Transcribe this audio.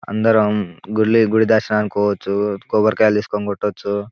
అందరమూ గుళ్ళ గుడి దర్శనానికి పోవచ్చు కొబ్బరికాయలు తీసుకొని కొట్టొచ్చు.